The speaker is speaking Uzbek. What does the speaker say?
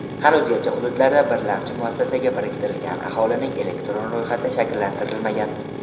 Hanuzgacha hududlarda birlamchi muassasaga biriktirilgan aholining elektron ro‘yxati shakllantirilmagan.